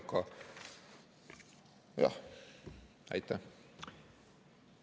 Aitäh!